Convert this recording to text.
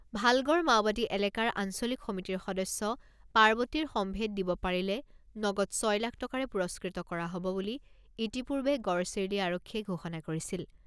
ভালগড় মাওবাদী এলেকাৰ আঞ্চলিক সমিতিৰ সদস্য পাৰ্বতীৰ সম্ভেদ দিব পাৰিলে নগদ ছয় লাখ টকাৰে পুৰস্কৃত কৰা হ'ব বুলি ইতিপূৰ্বে গড়চিৰলী আৰক্ষীয়ে ঘোষণা কৰিছিল।